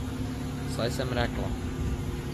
Saj sem rekla.